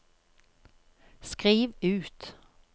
skriv ut